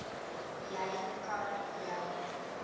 jy kan jou